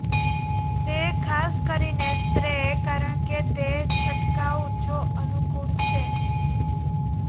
તે ખાસ કરીને સ્પ્રે કારણ કે તે છંટકાવ જો અનુકૂળ છે